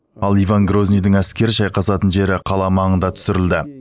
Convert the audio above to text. ал иван грозныйдың әскері шайқасатын жері қала маңында түсірілді